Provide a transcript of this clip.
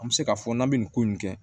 An bɛ se k'a fɔ n'an bɛ nin ko in kɛ